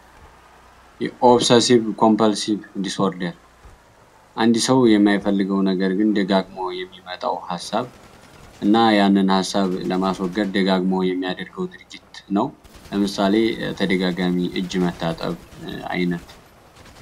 የኦብሰሲብ ኮምፐልሲብ ዲስ ኦርደር አንድ ሰው የማይፈልገው ነገር ግን ደጋግሞ የሚመጣውን ሀሳብ እና ያንን ሀሳብ ለማስወገድ ደጋግሞ የሚያደርገው ድርጊት ነው። ለምሳሌ ደጋግሞ እጅ መታጠብ አይነት።